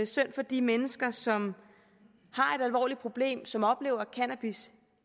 synd for de mennesker som har et alvorligt problem og som oplever at cannabis